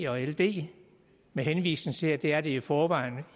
og ld med henvisning til at det er det i forvejen